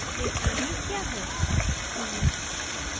k3b क्या है